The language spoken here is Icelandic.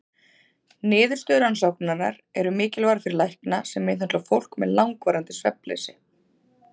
Niðurstöður rannsóknarinnar eru mikilvægar fyrir lækna sem meðhöndla fólk með langvarandi svefnleysi.